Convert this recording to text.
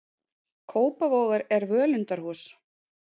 Kópavogur er völundarhús.